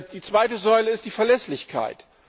Die zweite Säule ist die Verlässlichkeit.